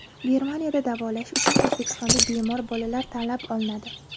Germaniyada davolash uchun O‘zbekistonda bemor bolalar tanlab olinadi.